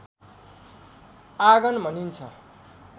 आँगन भनिन्छ